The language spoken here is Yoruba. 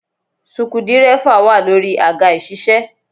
Suku dírẹ́fà wà lórí àga ìṣiṣẹ́